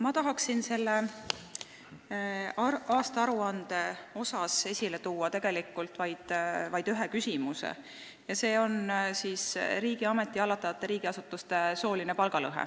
Ma tahan sellest aastaaruandest rääkides esile tuua vaid ühe küsimuse ja see on sooline palgalõhe riigi hallatavates asutustes.